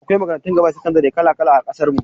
Akwai makarantun gaba da sakandare kala-kala a ƙasar mu.